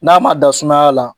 N'a ma da sumaya la